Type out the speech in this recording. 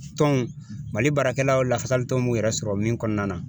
Tɔn Mali baarakɛlaw lafasalitɔn b'u yɛrɛ sɔrɔ min kɔnɔna na